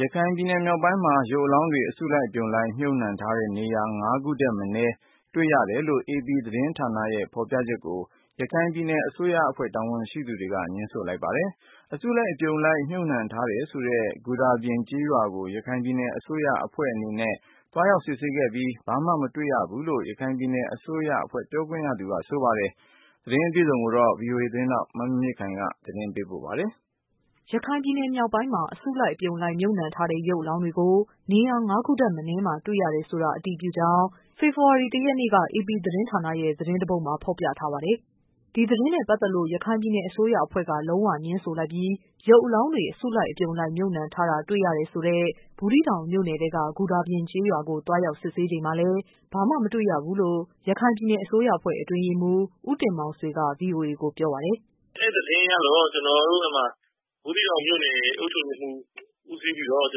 ရခိုင်ပြည်နယ်မြောက်ပိုင်းမှာ ရုပ်အလောင်းတွေ အစုအလိုက်အပြုံလိုက် မြှုပ်နှံထားတဲ့ နေရာ ၅ခု ထက် မနည်း တွေ့ရတယ် AP သတင်းဌာနရဲ့ ဖော်ပြချက်ကို ရခိုင်ပြည်နယ်အစိုးရအဖွဲ့ တာဝန်ရှိသူက ငြင်းဆို လိုက်ပါတယ်။ အစုအလိုက်အပြုံလိုက် မြှုပ်နှံထားတယ်ဆိုတဲ့ ဂူဒါပြင်ကျေးရွာကို ရခိုင်ပြည်နယ် အစိုးရ အဖွဲ့အနေနဲ့ သွားရောက် စစ်ဆေးပြီးဖြစ်ပြီး ဘာမှ မတွေ့ရဘူးလို့ ရခိုင်ပြည်နယ်အစိုးရအဖွဲ့ ပြောခွင့်ရသူ က ဆိုပါတယ်။ သတင်းအပြည့်အစုံကိုတော့ ဗွီအိုအေ မြန်မာပိုင်း သတင်းထောက် မမြင့်မြင့်ခိုင်က ပြော ပြပေးပါမယ်။ ရခိုင်ပြည်နယ်မြောက်ပိုင်းမှာ အစုလိုက်အပြုံလိုက် မြှုပ်နှံထားတဲ့ ရုပ်အလောင်းတွေကို နေရာ ၅ ခုထက် မနည်းမှာ တွေ့ရတယ်ဆိုတာ အတည်ပြုကြောင်း ဖေဖော်ဝါရီလ ၁ ရက်နေ့က AP သတင်းဌာန ရဲ့ သတင်းတပုဒ်မှာ ဖော်ပြထားပါတယ်။ ဒီသတင်းနဲ့ပတ်သက်လို့ ရခိုင်ပြည်နယ် အစိုးရအဖွဲ့က လုံးဝငြင်းဆိုလိုက်ပြီး ရုပ်အလောင်း တွေ အစုလိုက် အပြုံလိုက် မြှုပ်နှံထားတာ တွေ့ရတယ်ဆိုတဲ့ ဘူးသီးတောင်မြို့နယ်ထဲက ဂူဒါပြင်ကျေးရွာ ကို သွားရောက် စစ်ဆေးချိန်မှာလည်း ဘာမှမတွေ့ရဘူးလို့ ရခိုင်ပြည်နယ် အစိုးရအဖွဲ့ အတွင်းရေးမှူး ဦး တင်မောင်ဆွေက ဗွီအိုအေကို ပြောပါတယ်။ “အဲ့သတင်းရလို့ ဘူးသီးတောင်မြို့နယ် အုပ်ချုပ်ရေးမှူး ဦးစီးပြီးတော့ ကျွ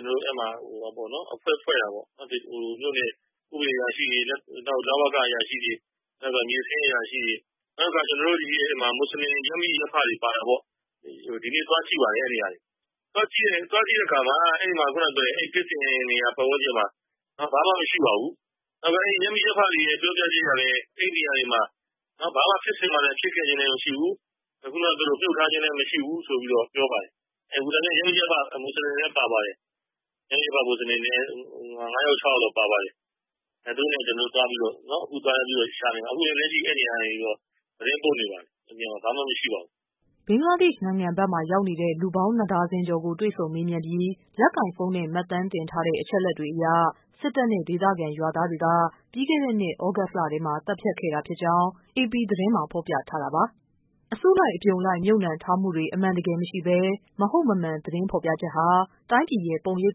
န်တော်တို့ အဖွဲ့ဖွဲ့တာပေါ့၊ မြို့နယ် ဥပဒေ အရာရှိတွေ၊ လဝက အရာရှိတွေ၊ နောက်တခါ မြေစာရင်းအရာရှိတွေ၊ နောက်တခါ ကျွန်တော်တို့ ဒီမှာ မွတ်ဆလင် ရပ်မိရပ်ဖတွေပါတာပေါ့။ ဒီနေ့ သွားကြည့်ပါတယ် အဲ့နေရာ တွေ။ သွားကြည့်တဲ့အခါမှာ အဲ့ဖြစ်စဉ်နေရာ ပတ်ဝန်းကျင်မှာ ဘာမှ မရှိပါဘူး။ နောက်ပြီးတော့ ရပ်မိ ရပ်ဖတွေရဲ့ ပြောပြချက်အရ အဲ့ဒီနေရာတွေမှာ ဘာမှ ဖြစ်စဉ်မှလည်း ဖြစ်ခဲ့ခြင်းလည်းမရှိဘူး။ ခုနက ပြောသလို မြှုပ်ထားခြင်းလည်း မရှိဘူး ဆိုပြီး ပြောပါတယ်။ ဂူဒါပြင်က ရပ်မိရပ်ဖ မွတ်ဆလင်တွေလည်း ပါပါတယ်။ ရပ်မိရပ်ဖ မွတ်ဆလင် ၅ယောက်၊ ၆ ယောက်လောက် ပါပါတယ်။ သူတို့နဲ့ ကျွန်တော်တို့ သွားပြီးတော့ ရှာနေတာ။ အခုပဲ အဲ့ဒီ နေရာကနေ သတင်းပို့နေပါတယ် ။ ဘာမှ မရှိပါဘူး။” ဘင်္ဂလားဒေ့ရှ်နိုင်ငံဘက်မှာ ရောက်နေတဲ့ လူပေါင်း ၂ဒါဇင်ကျော်ကို တွေ့ဆုံမေးမြန်းပြီး လက်ကိုင်ဖုံးနဲ့ မှတ်တမ်းတင်ထားတဲ့ အချက်အလက်တွေအရ စစ်တပ်နဲ့ ဒေသခံရွားသားတွေက သြဂုတ်လထဲမှာ သတ်ဖြတ်ခဲ့တာဖြစ် ကြောင်း AP သတင်းမှာ ဖော်ပြထားတာပါ။ အစုအလိုက်အပြုံလိုက် မြှုပ်နှံထားမှုတွေ အမှန်တကယ်မရှိဘဲ မဟုတ်မမှန် သတင်းဖော်ပြချက်ဟာ တိုင်းပြည်ရဲ့ ပုံရိပ်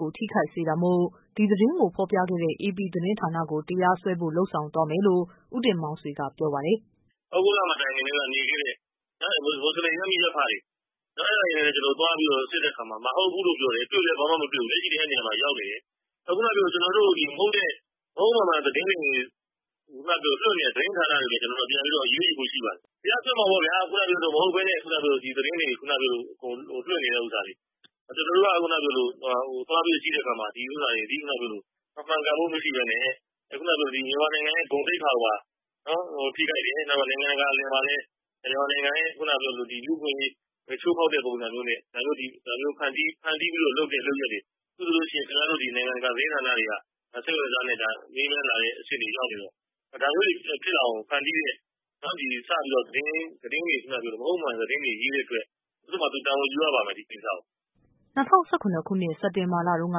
ကို ထိခိုက်စေတာမို့ ဒီသတင်းကို ဖော်ပြခဲ့တဲ့ AP သတင်းဌာနကိုလည်း တရားစွဲဖို့ လုပ် ဆောင်သွားမယ်လို့ ဦး တင်မောင်ဆွေက ပြောပါတယ်။ “ သြဂုတ်လမတိုင်ခင်ကတည်းက နေခဲ့တဲ့ မွတ်ဆလင် ရပ်မိရပ်မတွေနဲ့ သွားပြီးစစ်တဲ့အခါမှာ မဟုတ်ဘူးလို့ပြောတယ်။ တွေ့လည်း ဘာမှမတွေ့ဘူး။ လက်ရှိလည်း အဲ့ဒီနေရာမှာ ရောက်နေတယ်။ ခုနကပြောသလို ကျွန်တော်တို့ ဒီမဟုတ်တဲ့ မဟုတ်မမှန် သတင်းတွေ လွှင့်နေတဲ့ သတင်းဌာနတွေကို ကျွန်တော်တို့ ပြန်ပြီး အရေးယူဖို့ရှိပါတယ်။ တရားစွဲမှာ ပေါ့ဗျာ။ ခုနကပြောသလို မဟုတ်ပဲနဲ့ ဒီသတင်းတွေ လွှင့်နေတဲ့ ဥစ္စာတွေ၊ ကျွန်တော်တို့က သွားပြီးကြည့်တဲ့အခါမှာ ဒီဥစ္စာတွေသည် မှန်ကန် မှုမရှိပဲနဲ့ မြန်မာနိုင်ငံရဲ့ ဂုဏ်သိက္ခာကိုပါ ထိခိုက်တယ်၊ နောက်ပြီး နိုင်ငံတကာမှာအလယ်မှာလည်း မြန်မာနိုင်ငံက လူ့အခွင့်အရေး ချိုးဖောက်တဲ့ ပုံစံမျိုးနဲ့ ဒါမျိုး ဖန်တီးပြီးတော့ လုပ်တဲ့ လုပ်ရပ်တွေ၊ အခု ဆိုလည်း ခင်ဗျားတို့ နိုင်ငံတကာ သတင်းဌာနတွေက စိတ်ဝင်တစားနဲ့ မေးမြန်းလာတဲ့ အဆင့်တွေ ရောက်နေတော့ ဒါမျိုးတွေ ဖြစ်လာအောင် ဖန်တီးတဲ့ စပြီးတော့ သတင်းတွေ မဟုတ်မမှန် သတင်းတွေ ရေးတဲ့အတွက် သူ့တို့မှာ တာဝန်ယူရပါမယ် ဒီကိစ္စကို ။” ၂၀၁၇ စက်တင်ဘာလ တုန်းက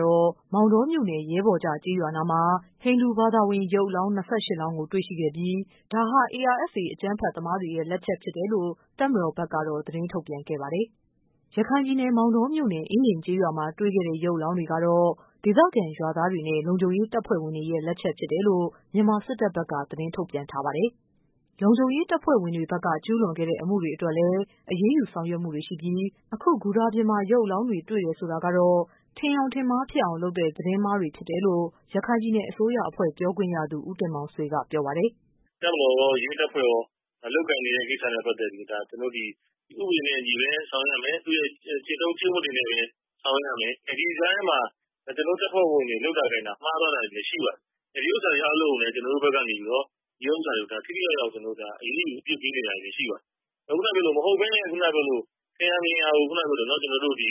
တော့ မောင်တောမြို့နယ် ရဲဘော်ကျ ကျေးရွာနားမှာ ဟိန္ဒူ ဘာ သာဝင် ရုပ်အလောင်း ၂၈လောင်းကို တွေ့ရှိခဲ့ပြီး ဒါဟာ ARSA အကြမ်းဖက်သမားတွေရဲ့ လက်ချက် ဖြစ်တယ်လို့ တပ်မတော်ဘက်ကတော့ သတင်းထုတ်ပြန်ခဲ့ပါတယ်။ ရခိုင်ပြည်နယ် မောင်တော မြို့နယ် အင်းဒင်ကျေးရွာမှာ တွေ့ခဲ့တဲ့ ရုပ်အလောင်းတွေကတော့ ဒေသခံရွာသားတွေနဲ့ လုံခြုံရေးတပ်ဖွဲ့ဝင်တွေ ရဲ့ လက်ချက်ဖြစ်တယ်လို မြန်မာစစ်တပ်ဘက်က သတင်းထုတ်ပြန်ထားပါတယ်။ လုံခြုံရေးတပ်ဖွဲ့ဝင်တွေဘက်က ကျူးလွန်ခဲ့တဲ့ အမှုတွေအတွက်လည်း အရေးယူဆောင်ရွက်မှုတွေ ရှိပြီး အခု ဂူဒါပြင်မှာ ရုပ်အလောင်းတွေ တွေ့တယ်ဆိုတာကတော့ ထင်ယောင်ထင်မှားဖြစ်အောင်လုပ်တဲ့ သတင်းမှားတွေပဲ ဖြစ်တယ်လို့ ရခိုင်ပြည်နယ် အစိုးရအဖွဲ့ ပြောခွင့်ရသူ ဦးတင်မောင်ဆွေက ပြောပါ တယ်။ “ တပ်မတော်ရော၊ ရဲတပ်ဖွဲ့ရော လုပ်ကိုင်နေတဲ့ ကိစ္စနဲ့ပတ်သက်ပြီး ဥပဒေနဲ့အညီပဲ ဆောင်ရွက် ရမယ်။ ကျင့်ထုံး ကျင့်ဝတ်တွေနဲ့ ပဲဆောင်ရွက်ရမယ်။ ဒီကြားထဲမှာ ကျွန်တော်တို့ တပ်ဖွဲ့ဝင်တွေ လုပ်တာကိုင်တာ မှားသွားတာတွေလည်းရှိပါတယ်။ ဒီဥစ္စာတွေအားလုံးကိုလည်း ကျွန်တော်တို့ဘက်က နေပြီးတော့ ထိထိရောက်ရောက် အရေးယူ အပစ်ပေးနေတာလည်း ရှိပါတယ်။ မဟုတ်ပဲနဲ့ ခုနက ပြောသလို ထင်ရာမြင်ရာကို သတင်းတွေလွှင့်တယ်၊ ကောလဟာလပေါ့။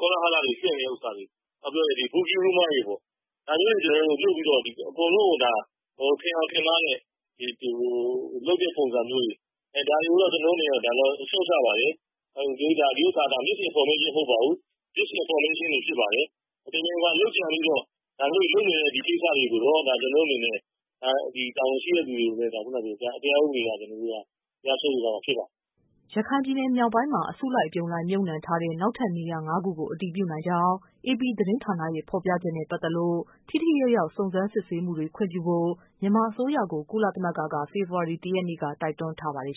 ကောလဟာလတွေ လွှင့်တဲ့ ဥစ္စာတွေ၊ ပြောရရင် Rumor တွေပေါ့၊ ဒါမျိုးတွေ လုပ်ပြီးတော့ အကုန်လုံးကို ထင်ယောင်ထင်မှား နဲ့ လုပ်တဲ့ ပုံစံမျိုးတွေ၊ ဒါတွေကိုတော့ ကျွန်တော်တို့ အနေနဲ့ ရှုတ်ချပါတယ်။ ဒီဥစ္စာဟာ Misinformation မဟုတ်ပါဘူး။ Disinformation ဖြစ်ပါတယ်။ တမင်တကာ လုပ်ကြံပြီးတော့ ဒါမျိုးတွေ လုပ်နေတဲ့ ဒီကိစ္စတွေကိုတော့ ကျွန်တော်တို့အနေနဲ့ တာဝန်ရှိတဲ့သူတွေကို တရားဥပဒေအရ တရားစွဲ ဆို သွားမှာဖြစ်ပါတယ်။ ” ရခိုင်ပြည်နယ် မြောက်ပိုင်းမှာ အစုလိုက် အပြုံလိုက် မြှုပ်နှံထားတဲ့ နောက်ထပ်နေရာ ၅ခုကို အတည်ပြု နိုင်ကြောင်း AP သတင်းဌာနရဲ့ ဖော်ပြချက်နဲ့ ပတ်သက်လို့ ထိထိရောက်ရောက် စုံစမ်းစစ်ဆေးခွင့်ပြုဖို့ မြန်မာအစိုးရကို ကုလသမဂ္ဂက ဖေဖော်ဝါရီ ၁ ရက်နေ့က တိုက်တွန်းထားပါတယ်